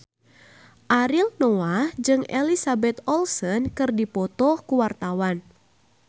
Ariel Noah jeung Elizabeth Olsen keur dipoto ku wartawan